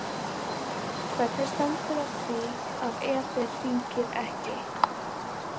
Hvernig stendur á því að Eder hringir ekki?